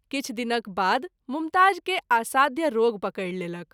किछु दिनक बाद मुमताज़ के असाध्य रोग पकैर लेलक।